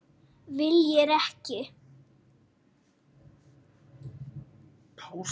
Viljir ekki.